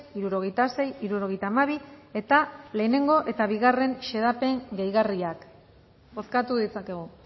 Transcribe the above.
hirurogeita sei hirurogeita hamabi eta lehenengo eta bigarren xedapen gehigarriak bozkatu ditzakegu